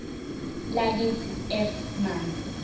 lakithi f manzi